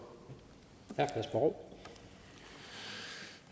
når